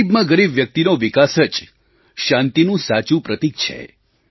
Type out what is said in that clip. ગરીબમાં ગરીબ વ્યક્તિનો વિકાસ જ શાંતિનું સાચું પ્રતીક છે